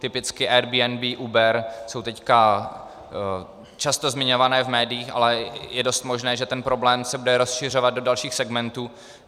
Typicky Airbnb, Uber jsou teď často zmiňované v médiích, ale je dost možné, že ten problém se bude rozšiřovat do dalších segmentů.